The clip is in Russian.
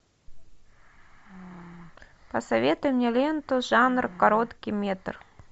посоветуй мне ленту жанр короткий метр